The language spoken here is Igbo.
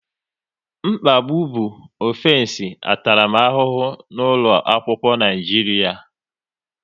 Mkpagbu bụ ọfensi ntaramahụhụ n'ụlọ akwụkwọ Naijiria